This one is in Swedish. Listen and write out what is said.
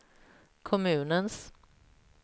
kommunens